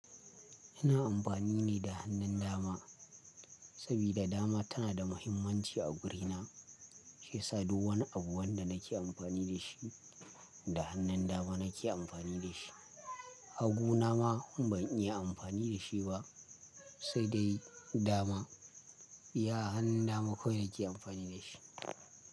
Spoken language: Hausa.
Ina amfani ne da hannun dama, saboda dama tana da muhimmanci a wurina, shiyasa duk wani abu da nake amfani da shi, da hannun dama nake amfani da shi. Haguna ma ban iya amfani da shi ba sai dai dama. Iya hannun dama kawai nake amfani da shi.